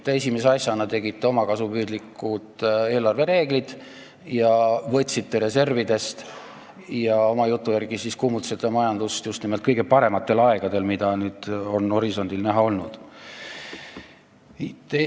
Te esimese asjana tegite omakasupüüdlikud eelarvereeglid, võtsite reservidest ja oma jutu järgi kuumutasite majandust just nimelt kõige parematel aegadel, mida nüüd on horisondil näha olnud.